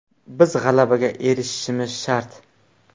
Biz g‘alabaga erishishimiz shart.